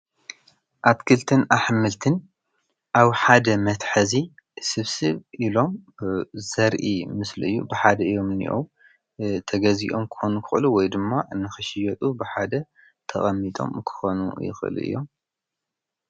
ኣትክልትን ኣሕምልትን ኣብ ሓደ መትሐዚ ስብስብ ኢሎም ዘርኢ ምስእዩ ብሓደ እዮም ኒኡ ተገዚኦም ኮኑ ይኸእሉ ወይ ድማ ንኽሽየጡ ብሓደ ተቐሚጦም ክኾኑ ይኽል እዮም::